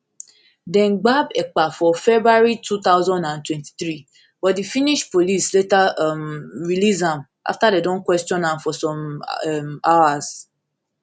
dem gbab ekpa for february two thousand and twenty-three but di finnish police later um release am afta dem ask am kwesion for some um hours